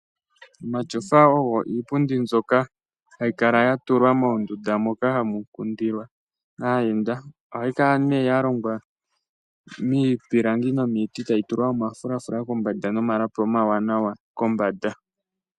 Omatyofa ogo iipundi mbyoka hayi kala ya tulwa moondunda moka hamu kundilwa aayenda. Ohayi kala nee ya longwa miipilangi nomiiti, tayi tulwa oma fulafula kombanda nomalapi oma wanawa kombanda.